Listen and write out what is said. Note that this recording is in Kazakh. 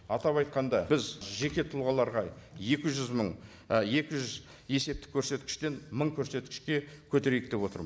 атап айтқанда біз жеке тұлғаларға екі жүз мың екі жүз есептік көрсеткіштен мың көрсеткішке көтерейік деп отырмыз